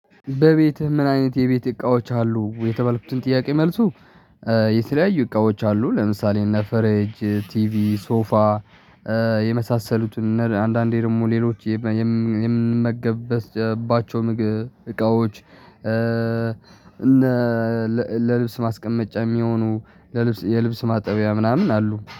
በቤትህ ምን አይነት የቤት እቃዎች አሉ የተባለበትን ጥያቄ መልሱ። የተለያዩ እቃዎች አሉ። ለምሳሌ እና ፈረጅ ቲቪ ሶፋ የመሳሰሉትን አንዳንዴ ደግሞ ሌሎች የምንመገበት የምንመገብባቸው ምግብ እቃዎች። እነ ለልብስ ማስቀመጫ የሚሆኑ ለልብስ የልብስ ማጠቢያ ምናምን አሉ